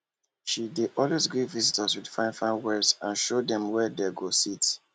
she dey always greet visitor with fine fine words and show dem where dem go sit